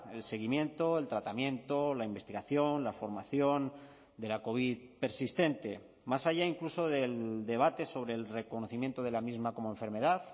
el seguimiento el tratamiento la investigación la formación de la covid persistente más allá incluso del debate sobre el reconocimiento de la misma como enfermedad